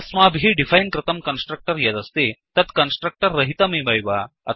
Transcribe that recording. अस्माभिः डिफैन् कृतं कन्स्ट्रक्टर् यदस्ति तत् कन्स्ट्रक्टर् रहितमिवैव